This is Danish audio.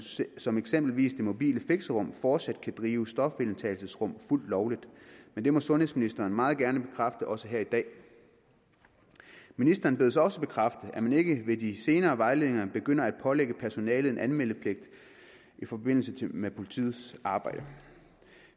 som eksempelvis de mobile fixerum fortsat kan drive stofindtagelsesrum fuldt lovligt men det må sundhedsministeren meget gerne bekræfte også her i dag ministeren bedes også bekræfte at man ikke ved de senere vejledninger begynder at pålægge personalet en anmeldepligt i forbindelse med politiets arbejde